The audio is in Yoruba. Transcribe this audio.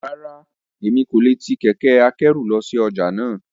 Rárá, Emi ko le ti kẹkẹ-akẹru lọ si ọja náa.